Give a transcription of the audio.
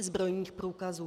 zbrojních průkazů.